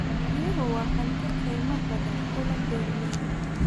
Biyuhu waa hanti qiimo badan u leh beeralayda.